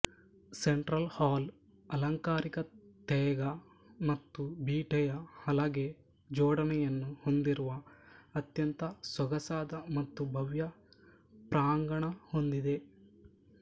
central hall ಅಲಂಕಾರಿಕ ತೇಗ ಮತ್ತು ಬೀಟೆಯ ಹಲಗೆ ಜೋಡಣೆಯನ್ನು ಹೊಂದಿರುವ ಅತ್ಯಂತ ಸೊಗಸಾದ ಮತ್ತು ಭವ್ಯ ಪ್ರಾಂಗಣ ಹೊಂದಿದೆ